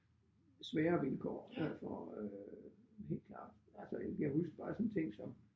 Sværere vilkår derfor øh helt klart altså jeg kan huske bare sådan en ting som